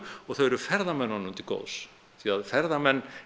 og þau eru ferðamönnunum til góðs því að ferðamenn